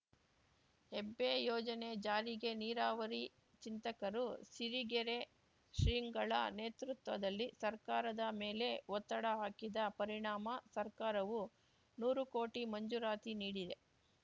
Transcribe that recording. ಹೆಬ್ಬೆ ಯೋಜನೆ ಜಾರಿಗೆ ನೀರಾವರಿ ಚಿಂತಕರು ಸಿರಿಗೆರೆ ಶ್ರೀಗಳ ನೇತೃತ್ವದಲ್ಲಿ ಸರ್ಕಾರದ ಮೇಲೆ ಒತ್ತಡ ಹಾಕಿದ ಪರಿಣಾಮ ಸರ್ಕಾರವು ನೂರು ಕೋಟಿ ಮಂಜೂರಾತಿ ನೀಡಿದೆ